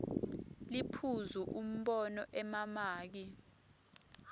liphuzu umbono emamaki